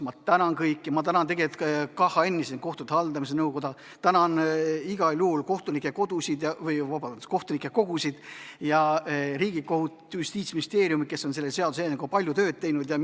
Ma tänan kõiki, ma tänan KHN-i ehk kohtute haldamise nõukoda, tänan kohtunike kogusid ja Riigikohut, tänan Justiitsministeeriumi, kes on selle seaduseelnõuga palju tööd teinud!